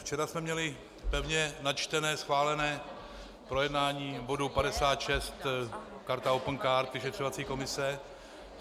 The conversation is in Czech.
Včera jsme měli pevně načtené schválené projednání bodu 56 - karta opencard, vyšetřovací komise.